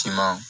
Timan